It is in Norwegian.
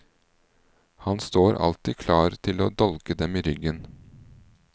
Han står alltid klar til å dolke dem i ryggen.